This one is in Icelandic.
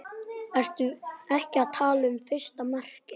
Ertu ekki að tala um fyrsta markið?